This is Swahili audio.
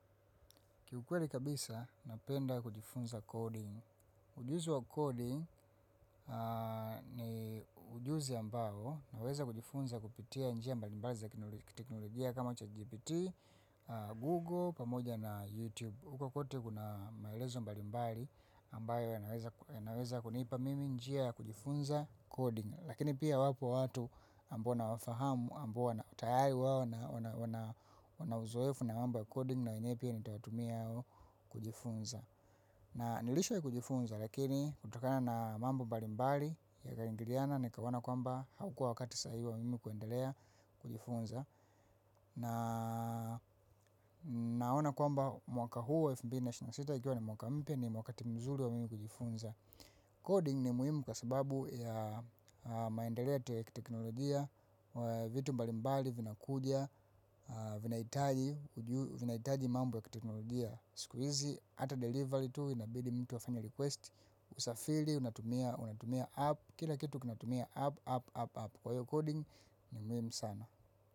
Kiukweli kabisa, napenda kujifunza coding. Ujuzi wa coding ni ujuzi ambao naweza kujifunza kupitia njia mbali mbali za kiteknologia kama chatgpt, Google, pamoja na YouTube. Uko kwote kuna maelezo mbali mbali ambayo yanaweza kunipa mimi njia ya kujifunza coding. Lakini pia wapo watu ambao nawafahamu, ambao na tayari wao, wanauzoefu na mambo coding na wenyewe pia nitawatumia hao kujifunza. Na nilishawahi kujifunza lakini kutokana na mambo mbalimbali ikaingiliana nikaona kwamba haukua wakati sahihi wa mimi kuendelea kujifunza. Na naona kwamba mwaka huu wa elfu mbili na ishirini na sita ikiwa ni mwaka mpya ni wakati mzuri wa mimi kujifunza. Coding ni muhimu kwa sababu ya maendeleo ya kiteknolojia, vitu mbali mbali vinakuja, vinahitaji mambo ya kiteknolojia, siku hizi, hata delivery tu, inabidi mtu afanye request, usafiri, unatumia, unatumia app, kila kitu kinatumia app, app, app, app. Kwa hiyo coding ni mwimu sana.